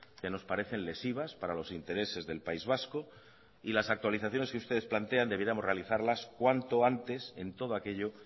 que nos parecen lesivas para los intereses del país vasco y las actualizaciones que ustedes plantean debiéramos realizarlas cuanto antes en todo aquello